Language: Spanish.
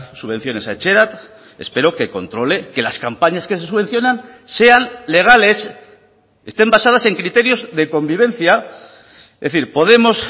subvenciones a etxerat espero que controle que las campañas que se subvencionan sean legales estén basadas en criterios de convivencia es decir podemos